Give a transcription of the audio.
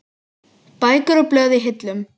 Bækur og blöð í hillum.